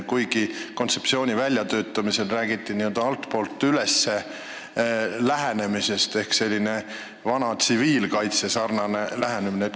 Aga kontseptsiooni väljatöötamisel räägiti n-ö altpoolt üles lähenemisest, mis on siis selline vana tsiviilkaitsesarnane lähenemine.